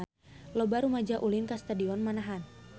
Loba rumaja ulin ka Stadion Manahan